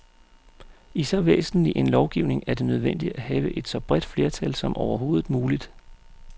I så væsentlig en lovgivning er det nødvendigt at have et så bredt flertal som overhovedet muligt.